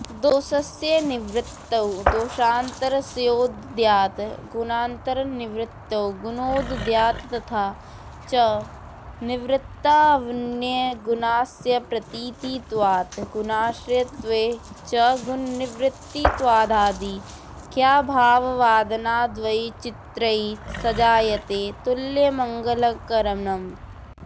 दोषस्य निवृत्तौ दोषान्तरस्योदयात् गुणान्तरनिवृत्तौ गुणोदयात्तथा च निवृत्तावन्यगुणस्याप्रतीतित्वात् गुणाश्रयत्वे च गुणनिवृत्तित्वादाधिक्याभाववादनाद्वैचित्र्ये सजायते तुल्यमलङ्करणम्